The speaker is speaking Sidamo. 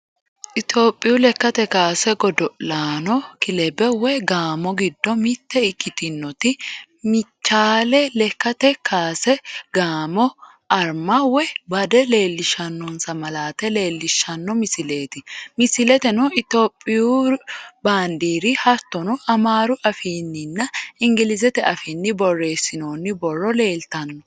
Itiyoophiyu lekkate kaase godo'laqno kilabba woyi gaamo giddo mitte ikkitinoti mechaali lekkate kaase gaamo Arma woyi bade leellishshannosa malaate leellishshanno misileeti. Misileteno itiyoophiyu baandiiri hattono amaaru afiinninna ingilizete afiinni borreessinoonni borro leeltanno.